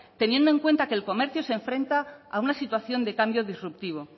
teniendo en cuenta que el comercio se enfrenta a una situación de cambio disruptivo